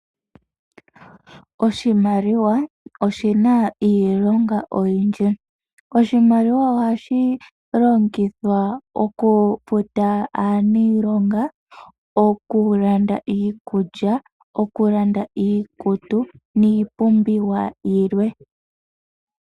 Oshimaliwa oshina iilonga oyindji. Oshimaliwa ohashi longithwa okufuta aaniilonga, okulanda iikulya, okulanda iikutu niipumbiwa yilwe.